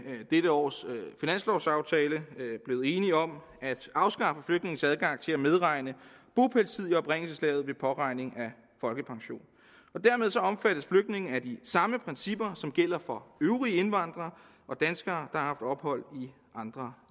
dette års finanslovaftale blevet enige om at afskaffe flygtninges adgang til at medregne bopælstid i oprindelseslandet ved beregning af folkepension dermed omfattes flygtninge af de samme principper som gælder for øvrige indvandrere og danskere der har ophold i andre